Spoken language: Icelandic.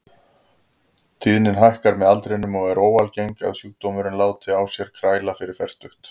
Tíðnin hækkar með aldrinum og er óalgengt að sjúkdómurinn láti á sér kræla fyrir fertugt.